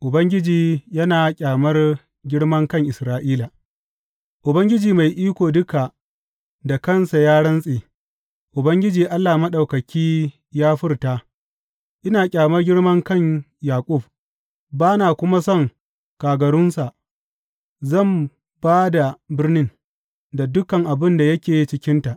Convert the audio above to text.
Ubangiji yana ƙyamar girmankan Isra’ila Ubangiji Mai Iko Duka da kansa ya rantse, Ubangiji Allah Maɗaukaki ya furta, Ina ƙyamar girman kan Yaƙub, ba na kuma son kagarunsa; zan ba da birnin da duk abin da yake cikinta.